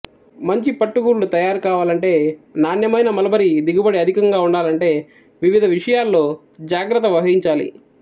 మంచి పట్టు గూళ్ళు తయారు కావాలంటే నాణ్యమైన మల్బరీ దిగుబడి అధికంగా ఉండాలంటే వివిధ విషయాల్లో జాగ్రత్త వహించాలి